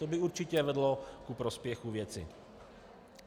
To by určitě vedlo ku prospěchu věci.